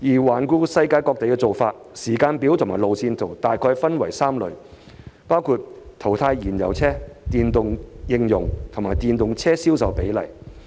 環顧世界各地的做法、時間表和路線圖，大概可分為3類，包括淘汰燃油車、電動車應用率和電動車銷售比例。